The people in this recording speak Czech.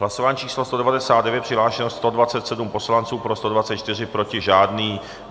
Hlasování číslo 199, přihlášeno 127 poslanců, pro 124, proti žádný.